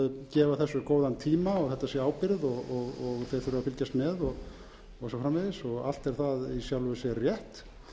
gefa þessu góðan tíma og þetta sé ábyrgð og þeir þurfi að fylgjast með og svo framvegis allt er það í sjálfu sér rétt